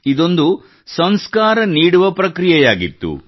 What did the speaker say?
ಇದೊಂದು ಸಂಸ್ಕಾರ ನೀಡುವ ಪ್ರಕ್ರಿಯೆಯಾಗಿತ್ತು